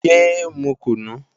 Yé é mu kùnú!